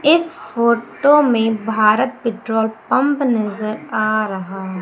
इस photo Bharat petrol pump नजर आ रहा है।